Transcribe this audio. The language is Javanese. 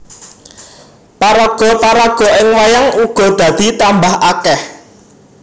Paraga paraga ing wayang uga dadi tambah akèh